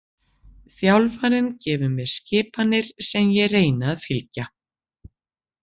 Þjálfarinn gefur mér skipanir sem ég reyni að fylgja.